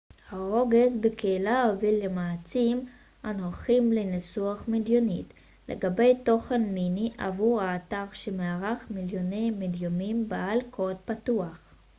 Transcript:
הרוגז בקהילה הוביל למאמצים הנוכחיים לניסוח מדיניות לגבי תוכן מיני עבור האתר שמארח מיליוני מדיומים בעלי קוד פתוח